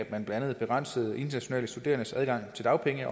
blandt andet begrænsede internationale studerendes adgang til dagpenge